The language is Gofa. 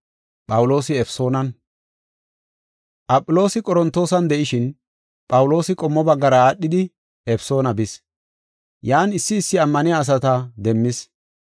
Aphiloosi Qorontoosan de7ishin, Phawuloosi qommo baggara aadhidi Efesoona bis. Yan issi issi ammaniya asata demmis.